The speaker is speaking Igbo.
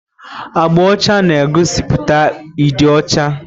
Agba ọcha na-egosiputa ịdị ọcha.